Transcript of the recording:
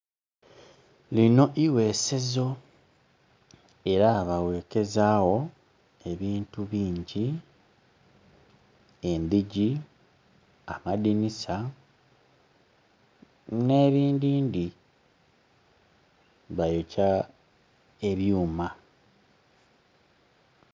Lino ighesezo, era baghekezawo ebintu bingi endhigi, amadhinisa n'ebindhindhi. Bayokya ebyuma.